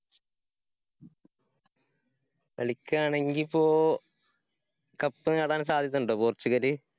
കളിക്കാണെങ്കിപ്പോ cup നേടാന്‍ സാധ്യത ഉണ്ടോ പോര്‍ച്ചുഗല്?